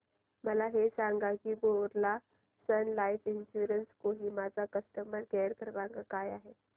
मला हे सांग की Birla Sun Life Insurance Kohima चा कस्टमर केअर क्रमांक काय आहे